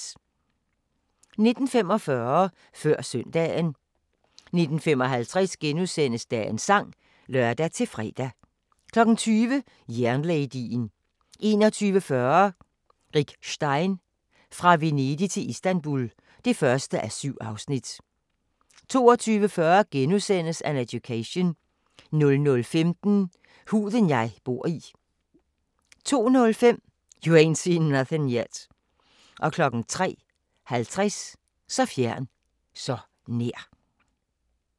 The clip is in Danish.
19:45: Før Søndagen 19:55: Dagens sang *(lør-fre) 20:00: Jernladyen 21:40: Rick Stein: Fra Venedig til Istanbul (1:7) 22:40: An Education * 00:15: Huden jeg bor i 02:05: You Ain't Seen Nothin' Yet 03:50: Så fjern, så nær!